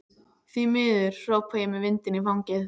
Því miður, hrópa ég með vindinn í fangið.